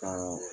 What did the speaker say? Ka